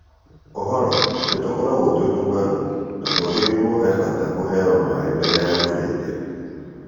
Oroho , nĩtũkũragwo twĩ tũng'aru na kwoguo he bata tũheo maaĩ mbere ya tũrĩte.